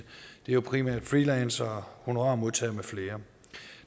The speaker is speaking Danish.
det er primært freelancere honorarmodtagere med flere